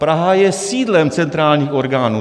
Praha je sídlem centrálních orgánů.